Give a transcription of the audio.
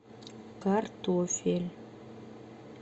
картофель